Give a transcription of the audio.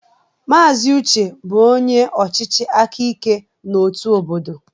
Mazị Uche bụ onye ọchịchị aka ike na otu obodo.